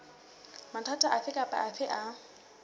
mathata afe kapa afe a